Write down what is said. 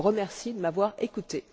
Je vous remercie de m'avoir écoutée.